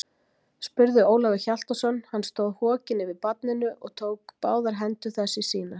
spurði Ólafur Hjaltason, hann stóð hokinn yfir barninu og tók báðar hendur þess í sínar.